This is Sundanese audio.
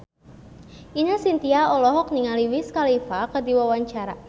Ine Shintya olohok ningali Wiz Khalifa keur diwawancara